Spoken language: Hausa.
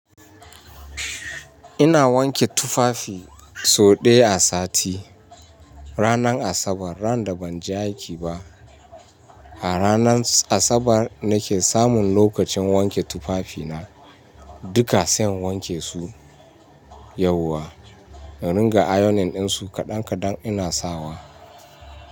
Ina wanke tufafi so ɗaya a sati, ranar Asabar ran da ban je aiki ba. A ranar Asabar nake samun lokacin wanke tufafina duka, sai in wanke su yauwa, in ringa ayonin su kaɗan kaɗan ina sawa.